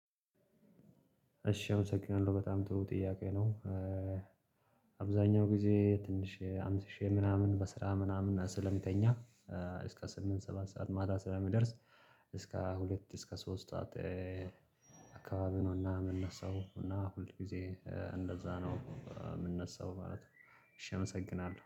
እሺ አመሰግናለሁ በጣም ጥሩ ጥያቄ ነው። አብዛኛው ጊዜ ትንሽ አምሽቼ ምናምን በስራ ምናምን ስለምተኛ እስከ ስምንት ሰባት ሰዓት ማታ ስለሚደርስ። እስከ ሁለት እስከ ሶስት አካባቢ ነውና የምንነሳው እና ሁል ጊዜ እንደዛ ነው የምንነሳው ማለት ነው። እሺ አመሰግናለሁ